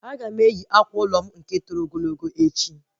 Aga m eyi akwa ụlọ m nke toro ogologo echi